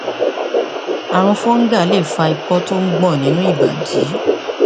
ààrùn fungal lè fa ikọ tí ó ń gbọn nínú ìbàdí